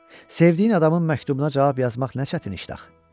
Sevdiyin adamın məktubuna cavab yazmaq nə çətin işdir axı?